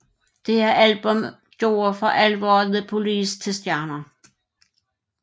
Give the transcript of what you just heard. Dette album gjorde for alvor The Police til stjerner